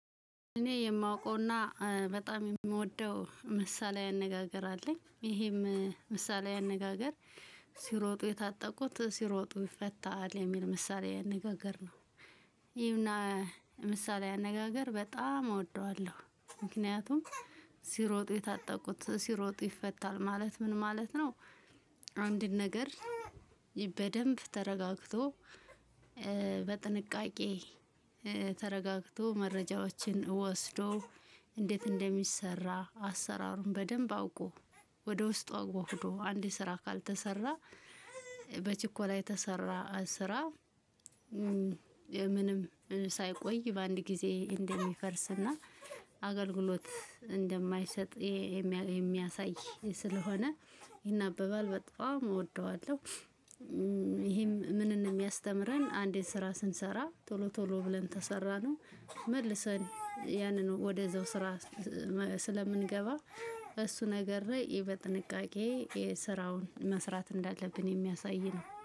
እኔ የማውቀውና በጣም የምወደው ምሳሌ አነጋገር አለኝ ይሄም ምሳሌ አነጋገር ሲሮጡ የታጠቁት ሲሮጡ ይፈታል የሚል ምሳሌ አነጋገር ነው። ይህን ምሳሌ አነጋገር በጣም እወደዋለሁ ምክንያቱም ሲሮጥ የታጠቁት ሲሮጥ ይፈታል ማለት ምን ማለት ነው። አንድን ነገር በደንብ ተረጋግቶ በጥንቃቄ ተረጋግቶ መረጃዎችን ወስዶ እንዴት እንደሚሰራ አሰራሩን በደንብ አውቆ ወደ ውስጡ አዋህዶ አንድ ስራ ካልተሰራ በችኮላ የተሰራ ስራ። ምንም ሳይቆይ በአንድ ጊዜ እንደሚፈርስና አገልግሎት እንደማይሰጥ የሚያሳይ ስለሆነ ይናበባል በጣም እወደዋለሁ። ይሄም ምንን የሚያስተምረን አንዴ ስራ ስንሰራ ቶሎ ቶሎ ብለን ተሰራነው መልሰን ያንን ወደዛው ስራ ስለምንገባ እሱ ነገረ በጥንቃቄ የስራውን መስራት እንዳለብን የሚያሳይ ነው